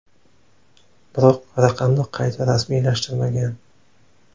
Biroq raqamni qayta rasmiylashtirmagan.